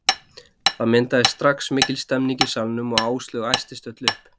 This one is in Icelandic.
Það myndaðist strax mikil stemning í salnum og Áslaug æstist öll upp.